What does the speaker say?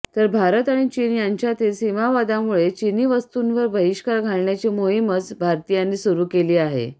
तर भारत आणि चीन यांच्यातील सीमावादामुळे चिनी वस्तूंवर बहिष्कार घालण्याची मोहीमच भारतीयांनी सुरू केली आहे